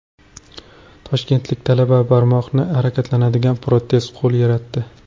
Toshkentlik talaba barmoqlari harakatlanadigan protez qo‘l yaratdi.